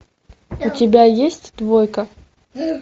у тебя есть двойка